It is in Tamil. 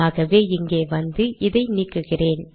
ஆகவே இங்கே வந்து இதை நீக்குகிறேன்